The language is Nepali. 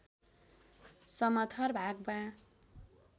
समथर भागमा